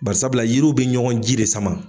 Barisabula yiri bi ɲɔgɔn ji de sama